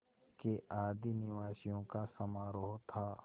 के आदिनिवासियों का समारोह था